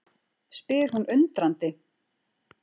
spyr hún undrandi.